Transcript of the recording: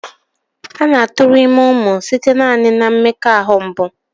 A na-aturu ime umu site naani na mmekoahu mbụ.